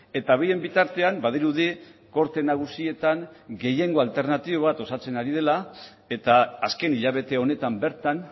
eta bien bitartean badirudi gorte nagusietan gehiengo alternatibo bat osatzen ari dela eta azken hilabete honetan bertan